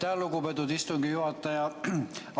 Aitäh, lugupeetud istungi juhataja!